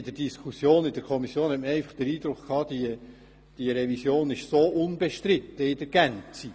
In der Diskussion in der Kommission hatte man einfach den Eindruck, dass die Revision in ihrer Gänze unbestritten sei.